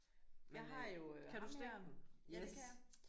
Men øh kan du stikke den? Yes